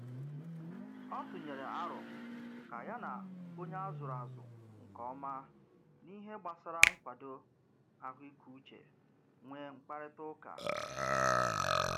Ọ tụnyere arọ ka ya na onye a zụrụ azụ nke ọma n'ihe gbasara nkwado ahụikeuche nwee mkparịtaụka.